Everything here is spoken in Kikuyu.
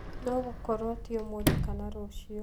No gũkorwo ti ũmũthĩ kana rũciũ.